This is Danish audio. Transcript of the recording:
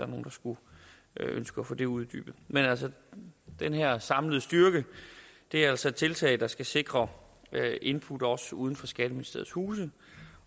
nogle der skulle ønske at få det uddybet men den her samlede styrke er altså et tiltag der skal sikre input også uden for skatteministeriets huse